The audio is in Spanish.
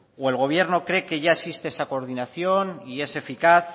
o el gobierno cree que ya existe esa coordinación y es eficaz